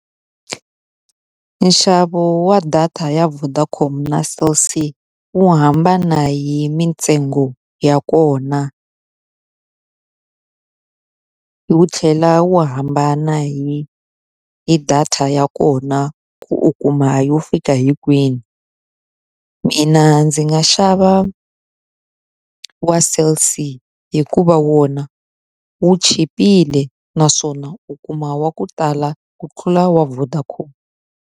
Nxavo wa data ya Vodacom na Cell C wu hambana hi mitsengo ya kona wu tlhela wu hambana hi hi data ya kona ku u kuma yo fika hi kwini. Mina ndzi nga xava wa Cell C hikuva wona wu chipile naswona u kuma wa ku tala ku tlula wa Vodacom.